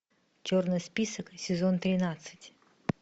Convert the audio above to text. черный список сезон тринадцать